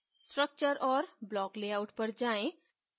structure और block layout पर जायें